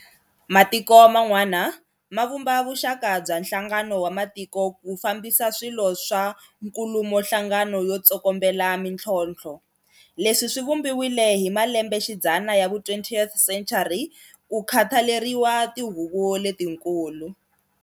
Matiko man'wana ma vumba vuxaka bya nhlangano wa matiko ku fambisa swilo swa nkulumohlangano yo tsokombela mintlhontlho. Leswi swi vumbiwile hi malembexidzana ya vu 20th century ku khathaleriwa tihuvo letikulu.